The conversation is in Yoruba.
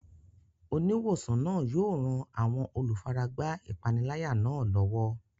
Oníwòsàn náà yóò ran àwọn olùfaragbá ìpániláyà náà lọ́wọ́.